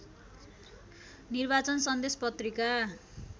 निर्वाचन सन्देश पत्रिका